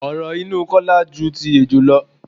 Oró inú Kọ́lá ju ti ejò lọ.